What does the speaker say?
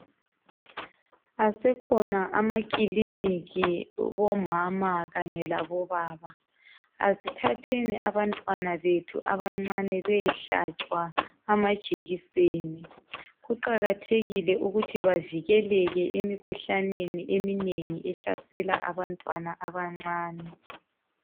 Asekhona amakiliniki bomama kanye labobaba. Asethatheni abantwanabethu abancane bayehlatshwa amajekiseni. Kuqakathekike ukuthi bavikele emikhuhoaneni eminengi ehlasela abantwana abancane.